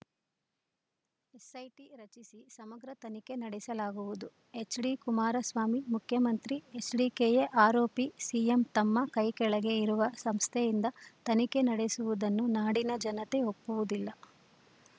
SIT ರಚಿಸಿ ಸಮಗ್ರ ತನಿಖೆ ನಡೆಸಲಾಗುವುದು ಎಚ್‌ಡಿಕುಮಾರಸ್ವಾಮಿ ಮುಖ್ಯಮಂತ್ರಿ ಎಚ್‌ಡಿಕೆಯೇ ಆರೋಪಿ ಸಿಎಂ ತಮ್ಮ ಕೈಕೆಳಗೆ ಇರುವ ಸಂಸ್ಥೆಯಿಂದ ತನಿಖೆ ನಡೆಸುವುದನ್ನು ನಾಡಿನ ಜನತೆ ಒಪ್ಪುವುದಿಲ್ಲ